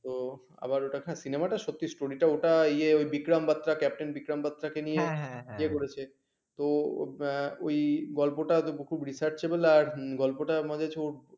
তো ওই গল্পটা খুব researchable আর গল্পটা মানে খুব